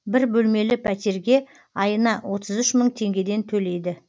бір бөлмелі пәтерге айына отыз үш мың теңгеден төлейді